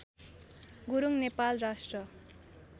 गुरुङ नेपाल राष्ट्र